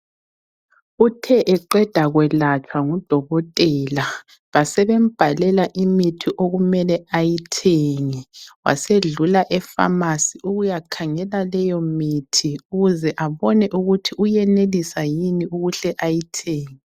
Uthe eqeda kuyelatshwa ngudokotela ,basebemubhalela imithi okumele ayithenge. Wasedlula epharmacy ukuyakhangela leyo mithi ukuze abone ukuthi uyenelisa yini ukuhle ayithenge.